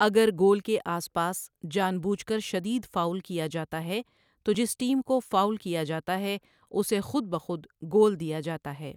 اگر گول کے آس پاس جان بوجھ کر شدید فاؤل کیا جاتا ہے، تو جس ٹیم کو فاؤل کیا جاتا ہے اسے خود بخود گول دیا جاتا ہے۔